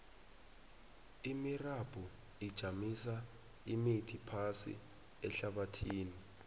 imirabhu ijamisa imithi phasi ehlabathini